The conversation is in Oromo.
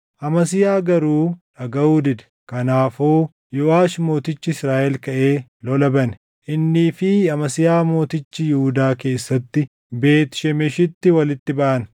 Amasiyaa garuu dhagaʼuu dide; kanaafuu Yooʼaash mootichi Israaʼel kaʼee lola bane. Innii fi Amasiyaa mootichi Yihuudaa keessatti Beet Shemeshitti walitti baʼan.